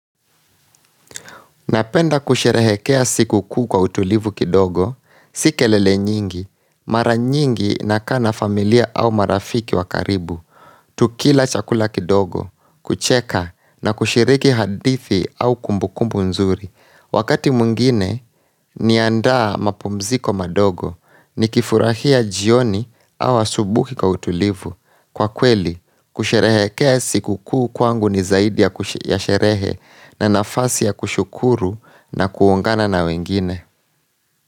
Napenda kusherehekea siku kuu kwa utulivu kidogo, si kelele nyingi, mara nyingi nakaa na familia au marafiki wa karibu, tukila chakula kidogo, kucheka na kushiriki hadithi au kumbukumbu nzuri. Wakati mwingine niandaa mapumziko madogo nikifurahia jioni au asubuhi kwa utulivu. Kwa kweli kusherehekea sikukuu kwangu ni zaidi ya ku ya sherehe na nafasi ya kushukuru na kuongana na wengine.